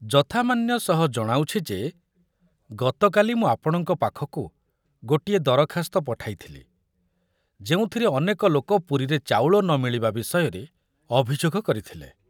ଯଥାମାନ୍ୟ ସହ ଜଣାଉଛି ଯେ ଗତକାଲି ମୁଁ ଆପଣଙ୍କ ପାଖକୁ ଗୋଟିଏ ଦରଖାସ୍ତ ପଠାଇଥିଲି ଯେଉଁଥରେ ଅନେକ ଲୋକ ପୁରୀରେ ଚାଉଳ ନ ମିଳିବା ବିଷୟରେ ଅଭିଯୋଗ କରିଥିଲେ।